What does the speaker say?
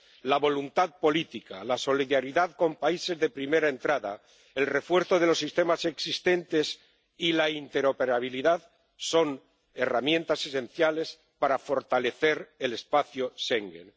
La voluntad política, la solidaridad con países de primera entrada, el refuerzo de los sistemas existentes y la interoperabilidad son herramientas esenciales para fortalecer el espacio Schengen.